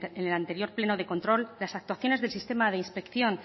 en el anterior pleno de control las actuaciones del sistema de inspección